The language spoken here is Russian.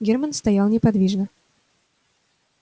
германн стоял неподвижно